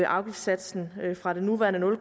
afgiftssatsen fra den nuværende nul